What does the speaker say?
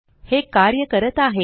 हे कार्य करत आहे